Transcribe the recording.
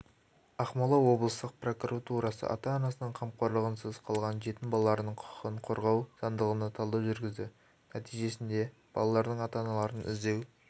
ақмола облыстық прокуратурасы ата-анасының қамқорлығынсыз қалған жетім балалардың құқығын қорғау заңдылығына талдау жүргізді нәтижесіндебалалардың ата-аналарын іздеу